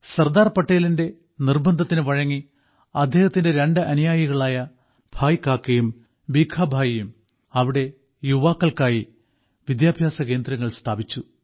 സർദാർ പട്ടേലിന്റെ നിർബന്ധത്തിനുവഴങ്ങി അദ്ദേഹത്തിന്റെ രണ്ട് അനുയായികളായ ഭായ് കാക്കയും ഭീഖാ ഭായിയും അവിടെ യുവാക്കൾക്കായി വിദ്യാഭ്യാസകേന്ദ്രങ്ങൾ സ്ഥാപിച്ചു